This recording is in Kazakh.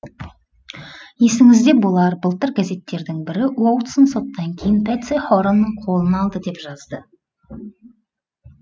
есіңізде болар былтыр газеттердің бірі уотсон соттан кейін пэтси хоранның қолын алды деп жазды